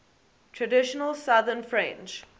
traditional southern french